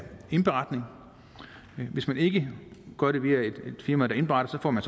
indberetning hvis man ikke gør det via et firma der indberetter så får man